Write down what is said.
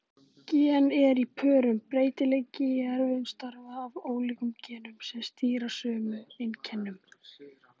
Gen eru í pörum: Breytileiki í erfðum stafar af ólíkum genum sem stýra sömu einkennum.